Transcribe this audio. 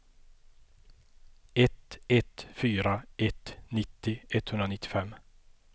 ett ett fyra ett nittio etthundranittiofem